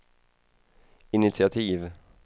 initiativ